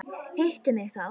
Hittu mig þá.